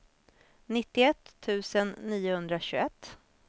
nittioett tusen niohundratjugoett